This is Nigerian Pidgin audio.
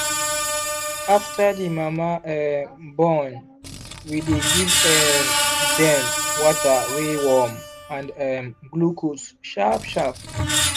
after the mama um born we dey give um dem water wey warm and um glucose sharp sharp